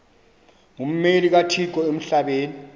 ngummeli kathixo emhlabeni